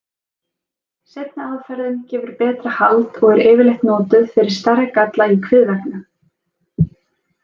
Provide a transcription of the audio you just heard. Seinni aðferðin gefur betra hald og er yfirleitt notuð fyrir stærri galla í kviðveggnum.